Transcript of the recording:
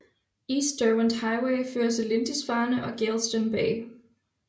East Derwent Highway fører til Lindisfarne og Geilston Bay